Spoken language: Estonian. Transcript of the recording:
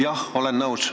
Jah, olen nõus.